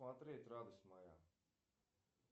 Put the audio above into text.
смотреть радость моя